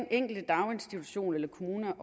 enkelte daginstitution eller kommune